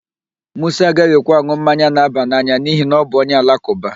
Musa agaghị ekwe an̄ụ mmanya na-aba n'anya n'ihi na ọ bụ onye Alakụba.